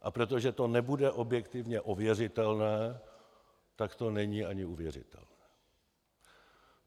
A protože to nebude objektivně ověřitelné, tak to není ani uvěřitelné.